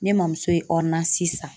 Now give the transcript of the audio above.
Ne mamuso ye san.